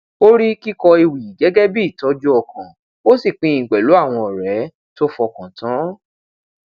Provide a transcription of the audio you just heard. ó rí kíkọ ewì gẹgẹ bí ìtọjú ọkàn ó sì pín in pèlú àwọn ọrẹ tó fọkan tan